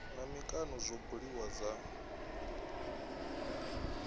na mikano zwo buliwaho dza